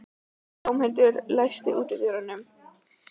Dómhildur, læstu útidyrunum.